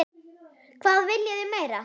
Hvað viljið þið meira?